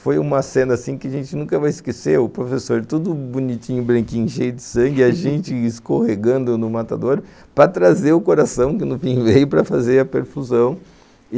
Foi uma cena que a gente nunca vai esquecer, o professor todo bonitinho, branquinho, cheio de sangue, a gente escorregando no matador para trazer o coração, que no fim veio para fazer a perfusão.